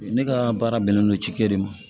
Ne ka baara bɛnnen don cikɛ de ma